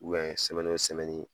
sɛmɛni o sɛmɛni